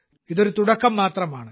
ഇത് ഒരു തുടക്കം മാത്രമാണ്